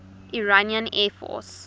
iranian air force